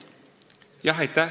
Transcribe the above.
Aitäh!